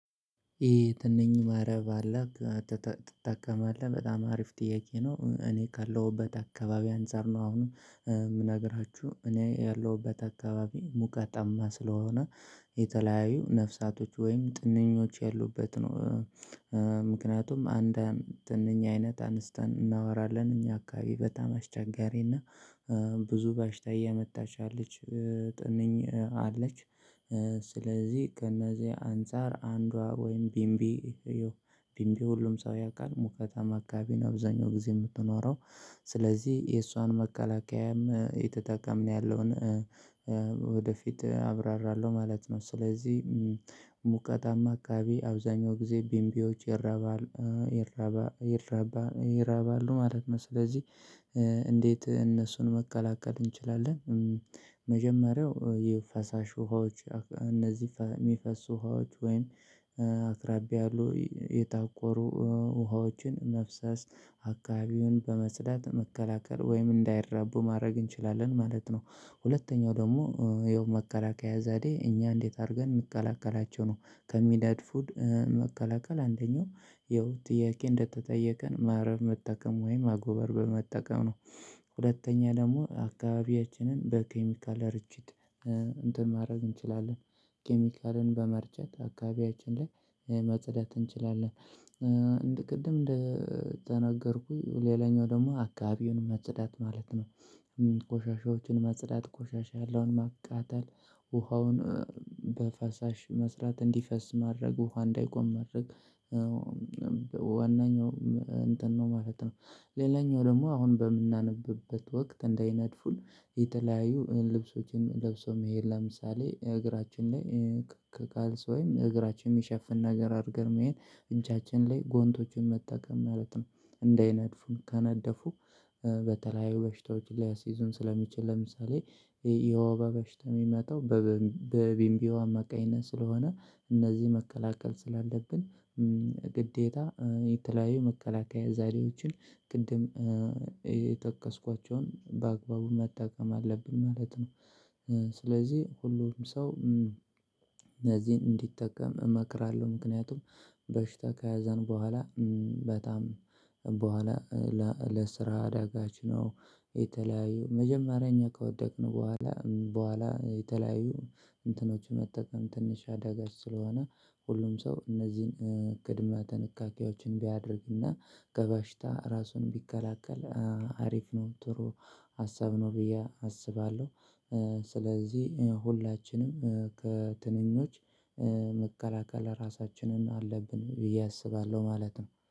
የትንኝ መረብ አለህ? ትጠቀማለህ በጣም አሪፍ ጥያቄ ነው። እኔ ካለሁበት አካባቢ አንፃር ነው አሁንም የምነግራችሁ እኔ ያለሁበት አካባቢ ሙቀታማ ስለሆነ የተለያዩ ነፍሳቶች ወይም ትንኞች ያሉበት ነው። ምክንያቱም አንድ አንድ ጥንኛ አይነት አንስተን እናወራለን እኛ አካባቢ በጣም አስቸጋሪና ብዙ ባሽታ እየመጣች አለች ጥንኝ አለች። ስለዚህ ከእነዚህ አንፃር አንዷ ወይም ቢምቢ ቢምቢ ሁሉም ሰው ያውቃል። ሙከታ ማካቢና አብዛኛው ጊዜ የምትኖረው ስለዚህ የእሷን መከላከያም የተጠቀምን ያለውን ወደፊት አብራራለሁ ማለት ነው። ስለዚህ ሙቀታማ አካባቢ አብዛኛው ጊዜ ቢንቢዎች ይረባል ይረባ ይረባ ይራባ አሉ ማለት ነው። ስለዚህ እንዴት እነሱን መቀላቀል እንችላለን? መጀመሪያው የፈሳሽ ውሃዎች እነዚህ የሚፈሱ ውሃዎች ወይን አክራቢ ያሉ የታቆሩ ውሃዎችን መፍሰስ አካባቢውን በመጽዳት መከላከል ወይም እንዳይራቡ ማድረግ እንችላለን ማለት ነው። ሁለተኛው ደግሞ የመከላከያ ዛዴ እኛ እንዴት አድርገን የምቀላቀላቸው ነው ከሚዳድ ፉድ መቀላቀል አንደኛው ይኸው ጥያቄ እንደተጠየቀን ማረብ መጠቀም ወይም አጎበር በመጠቀም ነው። ሁለተኛ ደግሞ አካባቢያችንን በኬሚካል አርችት እንትን ማድረግ እንችላለን። ኬሚካልን በመርጨት አካባቢያችን ላይ መጽዳት እንችላለን። እንደ ቅድም እንደ ተነገርኩኝ ሌላኛው ደግሞ አካባቢውን መጽዳት ማለት ነው። ቆሻሻዎችን መጽዳት ቆሻሻ ያለውን ማቃጠል ውሃውን በፈሳሽ መስራት እንዲፈስ ማድረጉ እንዳይቆም ማድረግ ዋናኛው እንትን ነው ማለት ነው። ሌላኛው ደግሞ አሁን በምናነብበት ወቅት እንዳይነድፉን የተለያዩ ልብሶችን ለብሶ መሄድ ለምሳሌ እግራችን ላይ ከካልስ ወይም እግራችን የሚሸፍን ነገር አድርገህ ይሄን እጃችን ላይ ጎንቶችን መታከም ማለት ነው። እንዳይነድፉን ከነደፉ በተለያዩ በሽታዎች ላይ አስይዞን ስለሚችል ለምሳሌ የውበ በሽታ የሚመጣው በቢምቢው አማቃይነት ስለሆነ እነዚህ መከላከል ስላለብን ግዴታ የተለያዩ መከላከያ ዛሬዎችን ቅድም የተከስኳቸውን በአግባቡ መጠቀም አለብን ማለት ነው። ስለዚህ ሁሉም ሰው እነዚህን እንዲጠቀም እመክራለሁ ምክንያቱም በሽታ ከያዘን በኋላ በጣም በኋላ ለስራ አዳጋች ነው። የተለያዩ መጀመሪያኛ ከወደቅን በኋላ በኋላ የተለያዩ እንትኖች መጠቀም ትንሽ አዳጋች ስለሆነ ሁሉም ሰው እነዚህን ቅድመ ትንካኔዎችን ቢያደርግና ገበሽታ ራሱን ቢከላከል አሪፍ ነው ጥሩ ሀሳብ ነው ብዬ አስባለሁ። ስለዚህ ሁላችንም ከትንኞች መከላከል ራሳችንን አለብን ብዬ አስባለሁ ማለት ነው